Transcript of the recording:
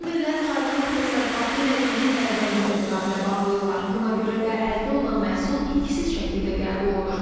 Fermerlər çayçılıq təsərrüfatı ilə ilin əvvəlində müqavilə bağlayırlar, buna görə də əldə olunan məhsul itkisiz şəkildə qəbul olunur.